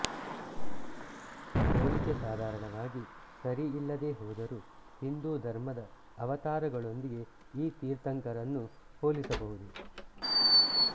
ಹೋಲಿಕೆ ಸಾಧಾರಣವಾಗಿ ಸರಿಯಲ್ಲದೇ ಹೋದರೂ ಹಿಂದೂಧರ್ಮದ ಅವತಾರಗಳೊಂದಿಗೆ ಈ ತೀರ್ಥಂಕರರನ್ನು ಹೋಲಿಸಬಹುದು